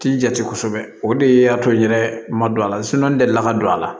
Ti jate kosɛbɛ o de y'a to n yɛrɛ ma don a la n deli la ka don a la